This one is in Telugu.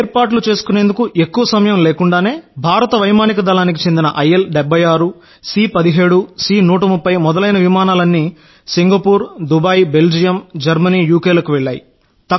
ఏర్పాట్లు చేసుకునేందుకు ఎక్కువ కాలం లేకుండానే భారత వైమానిక దళానికి చెందిన ఐఎల్ 76 సి 17 సి 130 మొదలైన విమానాలన్నీ Singapore Dubai Belgium Germany UK లకు వెళ్ళాయి